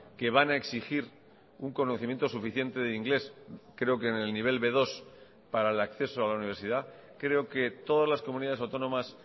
que van a exigir un conocimiento suficiente de inglés creo que en el nivel be dos para el acceso a la universidad creo que todas las comunidades autónomas